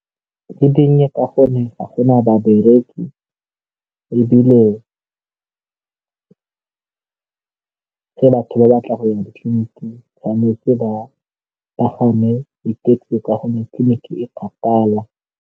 Di dinnye ka gonne ga gona babereki ebile batho ba batla go ya ditleliniki tshwanetse ba pagame di-taxi ka gonne tleliniki e kgakala.